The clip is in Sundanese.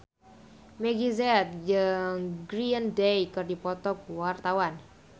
Meggie Z jeung Green Day keur dipoto ku wartawan